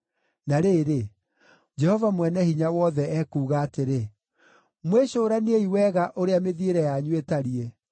Na rĩrĩ, Jehova Mwene-Hinya-Wothe ekuuga atĩrĩ, “Mwĩcũraniei wega ũrĩa mĩthiĩre yanyu ĩtariĩ.